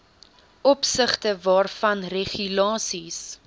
opsigte waarvan regulasies